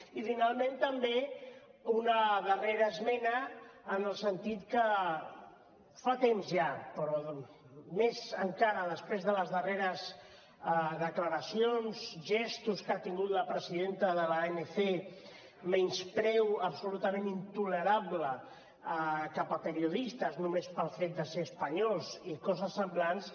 i finalment també una darrera esmena en el sentit que fa temps ja però més encara després de les darreres declaracions gestos que ha tingut la presidenta de l’anc menyspreu absolutament intolerable cap a periodistes només pel fet de ser espanyols i coses semblants